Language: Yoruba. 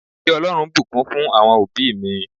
Kí Ọlọ́run bùkún fún àwọn òbí mi